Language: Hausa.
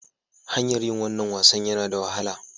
Hanyar yin wannan wasan yana da wahala.